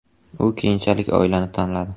U keyinchalik oilani tanladi.